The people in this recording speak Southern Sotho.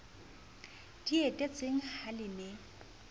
di etetseng ha le ne